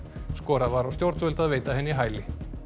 skorað var á stjórnvöld að veita henni hæli